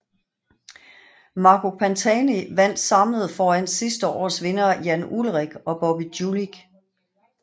Marco Pantani vandt samlet foran sidste års vinder Jan Ullrich og Bobby Julich